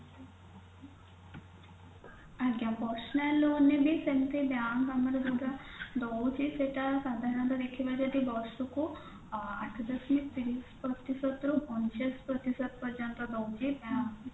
ଆଜ୍ଞା personal loan ନେଲେ ସେମତି bank ଆମର ଯୋଉଟା ରହୁଛି ସେଇଟା ସାଧାରଣତଃ ଦେଖିବା ଯଦି ବର୍ଷ କୁ ଅ ଆଠ ଦଶମିକ ତିରିଶ ପ୍ରତିଶତ ରୁ ଅଣଚାଶ ପ୍ରତିଶତ ପର୍ଯ୍ୟନ୍ତ ରହୁଛି bank